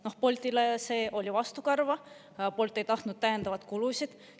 Noh, Boltile see oli vastukarva, Bolt ei tahtnud täiendavaid kulusid.